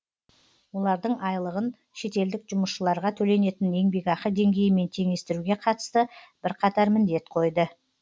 олардың айлығын шетелдік жұмысшыларға төленетін еңбекақы деңгейімен теңестіруге қатысты бірқатар міндет қойды